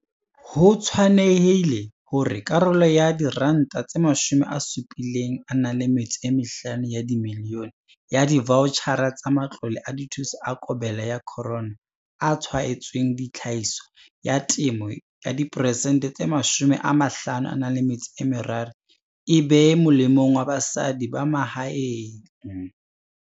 Ho tshwanehile hore karolo ya R75 milione ya divaotjhara tsa matlole a dithuso a COVID-19 a tshwaetsweng tlhahiso ya temo diperesente tse 53 e be molemong wa basadi ba mahaeng.